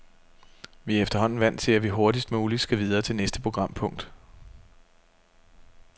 Vi er efterhånden vant til, at vi hurtigst muligt skal videre til næste programpunkt.